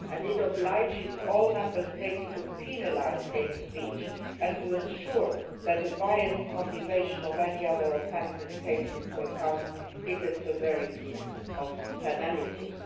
It requires all Member States to penalise hate speech and to ensure that a biased motivation for any other offence is taken into account in the severity of the penalties.